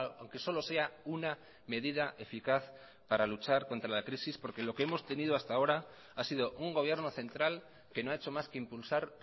aunque solo sea una medida eficaz para luchar contra la crisis porque lo que hemos tenido hasta ahora ha sido un gobierno central que no ha hecho más que impulsar